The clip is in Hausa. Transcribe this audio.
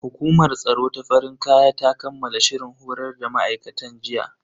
Hukumar tsaro ta farin kaya ta kammala shirin horar da ma'aikatan ya jiya.